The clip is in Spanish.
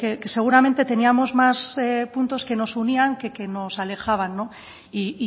que seguramente teníamos más puntos que nos unían que que nos alejaban y